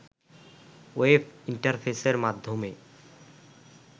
web ইন্টারফেসের মাধ্যমে